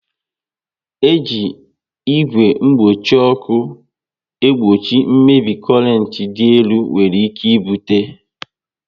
E ji igwe mgbochi ọkụ egbochi mmebi korent dị elu nwere ike ibute